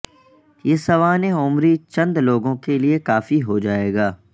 یہ سوانح عمری چند لوگوں کے لئے کافی ہو جائے گا